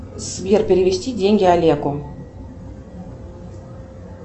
сбер перевести деньги олегу